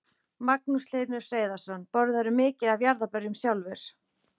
Magnús Hlynur Hreiðarsson: Borðarðu mikið af jarðarberjum sjálfur?